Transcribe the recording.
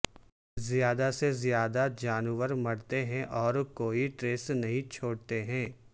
زیادہ سے زیادہ جانور مرتے ہیں اور کوئی ٹریس نہیں چھوڑتے ہیں